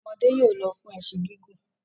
Àwọn ọmọdé yóò lọ fún ẹṣin gígùn.